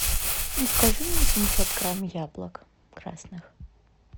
закажи мне семьсот грамм яблок красных